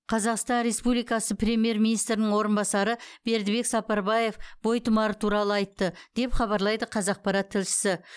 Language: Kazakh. қазақстан республикасы премьер министрінің орынбасары бердібек сапарбаев бойтұмары туралы айтты деп хабарлайды қазақпарат тілшісі